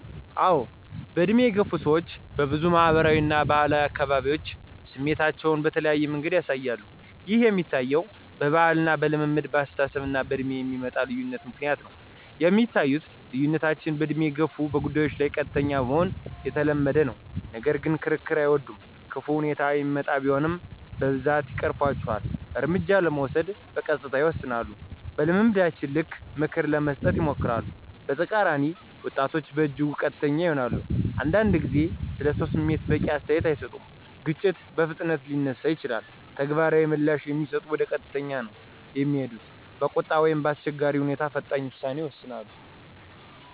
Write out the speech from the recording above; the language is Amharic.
አዎን፣ በዕድሜ የገፉ ሰዎች በብዙ ማህበራዊ እና ባህላዊ አካባቢዎች ስሜታቸዉን በተለያዩ መንገዶች ያሳያሉ። ይህ የሚታየዉ በባህል፣ በልምድ፣ በአስተሳሰብ እና በእድሜ የሚመጣ ልዩነቶች ምክንያት ነዉ። የሚታዩት ልዩነቶች በእድሜ የገፉት በጉዳይ ላይ ቀጥተኛ መሆን የተለመደ ነው፣ ነገር ግን ክርክር አይወዱም።። ክፉ ሁኔታ እሚመጣ ቢሆንም በብዛት ይቀርፉአቸዋል፣ እርምጃ ለመውሰድ በቀስታ ይወስናሉ። በልምዳቸው ልክ ምክር ለመስጠት ይሞክራሉ። በተቃራኒ ወጣቶች በእጅጉ ቀጥተኛ ይሆናሉ፣ አንዳንድ ጊዜ ስለሰው ስሜት በቂ አስተያየት አይሰጡም። ግጭት በፍጥነት ሊነሳ ይችላል፣ ተግባራዊ ምላሽ ከሚሰጡት ወደ ቀጥታ ነዉ እሚሄዱት። በቁጣ ወይም በአስቸጋሪ ሁኔታ ፈጣን ውሳኔ ይወስዳሉ።